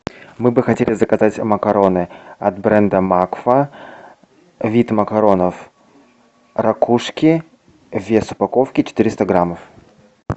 мы бы хотели заказать макароны от бренда макфа вид макаронов ракушки вес упаковки четыреста граммов